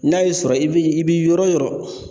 N'a y'i sɔrɔ i bi i bi yɔrɔ o yɔrɔ